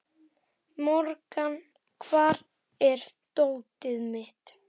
Morgan, hvar er dótið mitt?